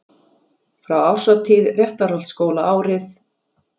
Frá árshátíð Réttarholtsskóla árið